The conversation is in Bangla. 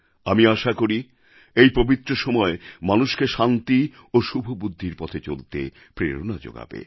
আমি আশা করি এই পবিত্র সময় মানুষকে শান্তি এবং শুভবুদ্ধির পথে চলতে প্রেরণা যোগাবে